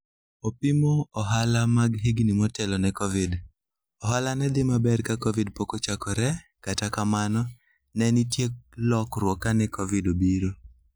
Opimo ohala mag higni motelo ne Covid: "Ohala ne dhi maber ka Covid pok ochakore, kata kamano, ne nitie lokruok kane Covid obiro".